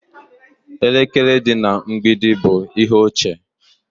Elekere dị na mgbidi bụ ihe ochie